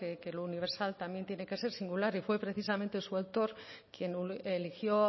que lo universal también tiene que ser singular y fue precisamente su autor quién eligió